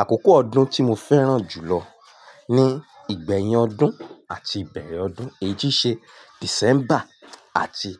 Àkókò ọdún tí mo fẹ́ràn jùlọ ní ìgbẹ̀yìn ọdún àti ìbeẹ̀rẹ̀ ọdún, èyí tì ṣe December àti